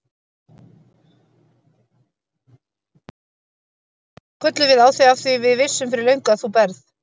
Þá kölluðum við á þig af því við vissum fyrir löngu að þú berð